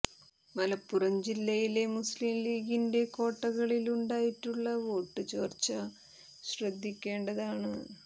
മലപ്പുറം ജില്ലയിലെ മുസ്ലിം ലീഗിന്റെ കോട്ടകളില് ഉണ്ടായിട്ടുള്ള വോട്ട് ചോര്ച്ച ശ്രദ്ധിക്കേണ്ടതാണ്